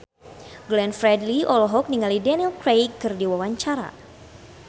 Glenn Fredly olohok ningali Daniel Craig keur diwawancara